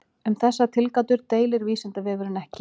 Um þessar tilgátur deilir Vísindavefurinn ekki.